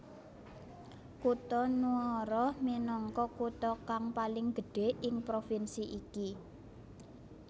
Kutha Nuoro minangka kutha kang paling gedhé ing provinsi iki